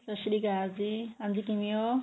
ਸਤਿ ਸ਼੍ਰੀ ਅਕਾਲ ਜੀ ਹਾਂਜੀ ਕਿਵੇਂ ਓਂ